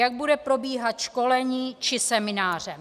Jak bude probíhat školení či semináře?